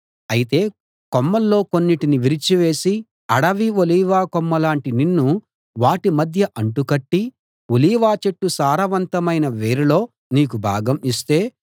అయితే కొమ్మల్లో కొన్నిటిని విరిచి వేసి అడవి ఒలీవ కొమ్మలాంటి నిన్ను వాటి మధ్య అంటు కట్టి ఒలీవ చెట్టు సారవంతమైన వేరులో నీకు భాగం ఇస్తే